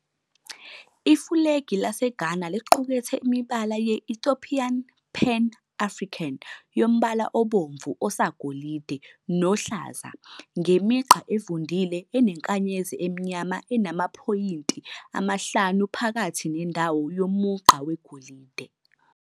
Ifulegi laseGhana liqukethe imibala ye-Ethiopian Pan-African yombala obomvu, osagolide, nohlaza ngemigqa evundlile enenkanyezi emnyama enamaphoyinti amahlanu phakathi nendawo yomugqa wegolide.